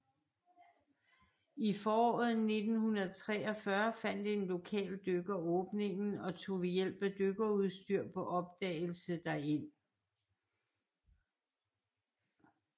I foråret 1943 fandt en lokal dykker åbningen og tog ved hjælp af dykkerudstyr på opdagelse derind